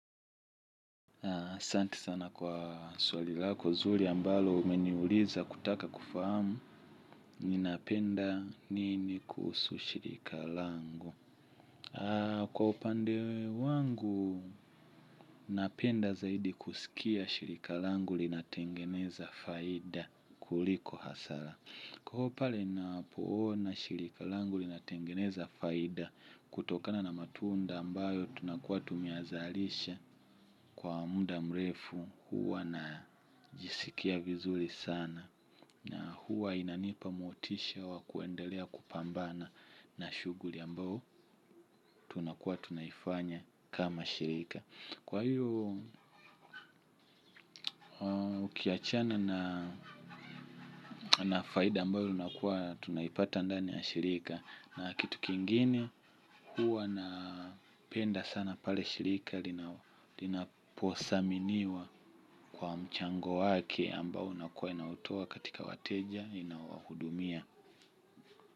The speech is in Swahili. Santi sana kwa swali lako zuri ambalo umeniuliza kutaka kufahamu ninapenda nini kuhusu shirika langu. Kwa upande wangu napenda zaidi kusikia shirika langu linatengeneza faida kuliko hasara. Kwa hivo pale napoona shirika langu linatengeneza faida kutokana na matunda ambayo tunakuwa tumyazalisha kwa muda mrefu huwa najisikia vizuri sana na huwa inanipa motisha wa kuendelea kupambana na shuguli ambayo tunakuwa tunaifanya kama shirika. Kwa hiyo ukiachana na faida ambayo unakuwa tunaipata ndani ya shirika na kitu kingine huwa napenda sana pale shirika linaposaminiwa kwa mchango wake ambayo unakuwa inautoa katika wateja inaowahudumia.